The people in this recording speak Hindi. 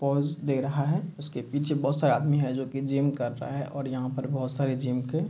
पोज़ दे रहा है | उसके पीछे बहुत सारे आदमी है जो की जिम कर रहा है और यहाँ पर बहुत सारे जिम के --